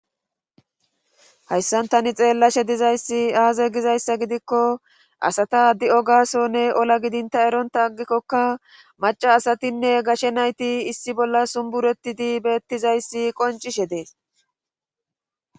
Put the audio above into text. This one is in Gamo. Hayssan tani xeellashe dizayssi aaze gizayssa gidikko asata di'o gaasonne ola gidinta eronta aggikkokka maca asatinne gashe nayti issi bolla sumbureti di beettizayssi qoncishe dees.